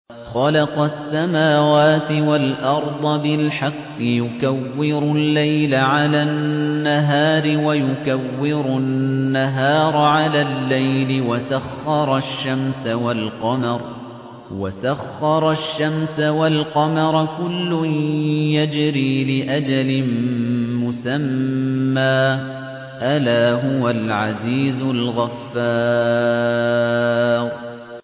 خَلَقَ السَّمَاوَاتِ وَالْأَرْضَ بِالْحَقِّ ۖ يُكَوِّرُ اللَّيْلَ عَلَى النَّهَارِ وَيُكَوِّرُ النَّهَارَ عَلَى اللَّيْلِ ۖ وَسَخَّرَ الشَّمْسَ وَالْقَمَرَ ۖ كُلٌّ يَجْرِي لِأَجَلٍ مُّسَمًّى ۗ أَلَا هُوَ الْعَزِيزُ الْغَفَّارُ